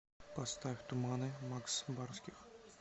поставь туманы макс барских